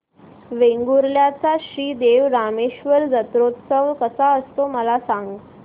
वेंगुर्ल्या चा श्री देव रामेश्वर जत्रौत्सव कसा असतो मला सांग